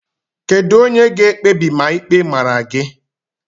Kedu onye ga-ekpebi ma ịkpe mara gị